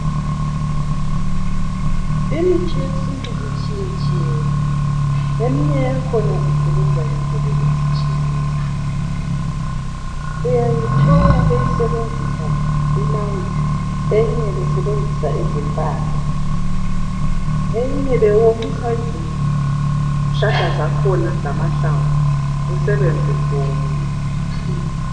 Imithi yesintu itshiyetshiyene. Eminye yakhona isebenza ngendlela ezitshiyeneyo. Uyayithola beyisebenzisa imanzi eyinye besebenzisa izimpande, eyinye bewomisa izihlala zakhona lamahlamvu, kusebenze kuwomile.